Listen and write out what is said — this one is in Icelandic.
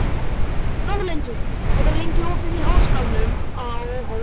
Þórlindur, hvað er lengi opið í Háskólanum á Hólum?